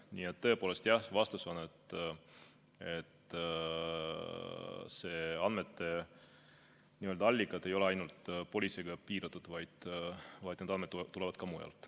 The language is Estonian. Nii et tõepoolest, jah, vastus on, et andmete allikad ei ole ainult politseiga piiratud, vaid need andmed tulevad ka mujalt.